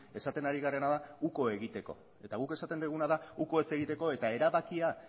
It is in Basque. esaten hari garena da uko egiteko eta guk esaten duguna da uko ez egiteko eta erabakia